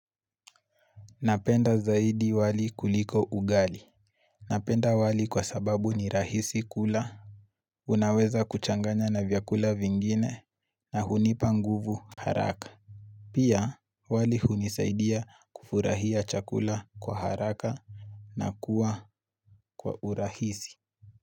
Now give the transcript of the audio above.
Napenda zaidi wali kuliko ugali Napenda wali kwa sababu ni rahisi kula Unaweza kuchanganya na vyakula vingine na hunipa nguvu haraka Pia wali hunisaidia kufurahia chakula kwa haraka na kuwa kwa urahisi.